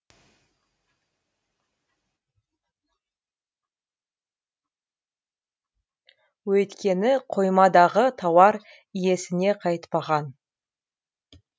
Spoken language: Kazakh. өйткені қоймадағы тауар иесіне қайтпаған